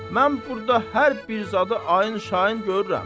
Mən burda hər bir zadı ayın-şayın görürəm.